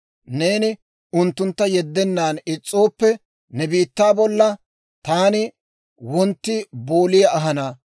Neeni unttuntta yeddennan is's'ooppe, ne biittaa bolla Taani wontti booliyaa ahana;